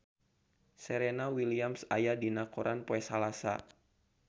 Serena Williams aya dina koran poe Salasa